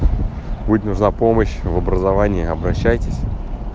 будет нужна помощь в образовании обращайтесь